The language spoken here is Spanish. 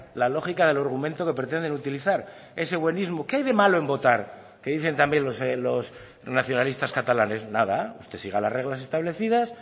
la lógica del argumento que pretenden utilizar ese buenismo qué hay de malo en votar que dicen también los nacionalistas catalanes nada usted siga las reglas establecidas